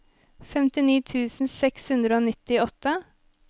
femtini tusen seks hundre og nittiåtte